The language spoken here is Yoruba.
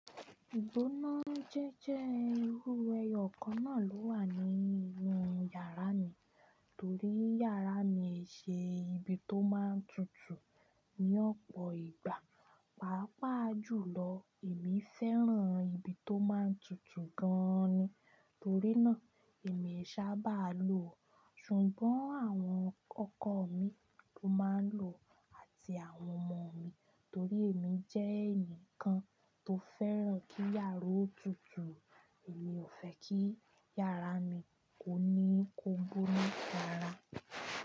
Ìbóná jẹ́jẹ́ irú ẹyọ kan náà ló wà nínú yàrá mi torí yàrá mi ṣe ibi tó máa ń tutù ní ọ̀pọ̀ ìgbà. Pápa jùlọ èmi fẹ́ràn ibi tó máa ń tutù gan ni. Torí náà èmi sábà lo ò. Ṣùgbọ́n àwọn ọkọ mi ló máa ń lò àti àwọn ọmọ mi torí èmi jẹ́ ẹnì kan tó fẹ́ràn kí yàrá ó tutù. Èmi ò fẹ́ kí yàrá mi kó ní kó gbóna rara.